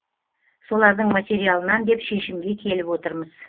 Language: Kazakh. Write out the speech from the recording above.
солардың материалынан деп шешімге келіп отырмыз